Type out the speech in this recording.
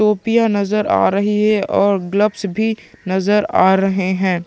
टोपियाँ नजर आ रही है और ग्लव्स भी नजर आ रहे है।